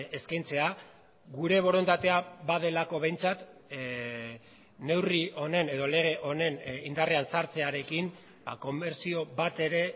eskaintzea gure borondatea badelako behintzat neurri honen edo lege honen indarrean sartzearekin komertzio bat ere